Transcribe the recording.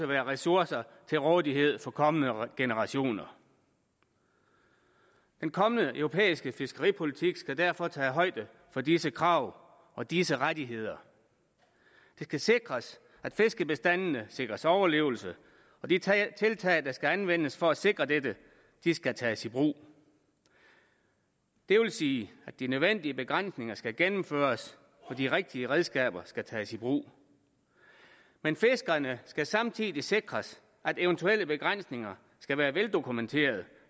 være ressourcer til rådighed for kommende generationer den kommende europæiske fiskeripolitik skal derfor tage højde for disse krav og disse rettigheder det skal sikres at fiskebestandene sikres overlevelse og de tiltag der skal anvendes for at sikre dette skal tages i brug det vil sige at de nødvendige begrænsninger skal gennemføres og de rigtige redskaber skal tages i brug men fiskerne skal samtidig sikres at eventuelle begrænsninger skal være veldokumenteret